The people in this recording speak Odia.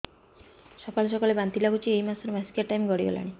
ସକାଳେ ସକାଳେ ବାନ୍ତି ଲାଗୁଚି ଏଇ ମାସ ର ମାସିକିଆ ଟାଇମ ଗଡ଼ି ଗଲାଣି